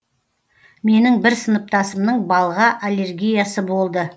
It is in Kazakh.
менің бір сыныптасымның балға аллергиясы болды